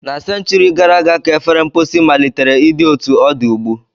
Na senchuri gara aga ka efere mposi malitere ịdị otu ọ dị ugbu.